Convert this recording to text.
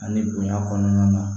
Ani bonya kɔnɔna na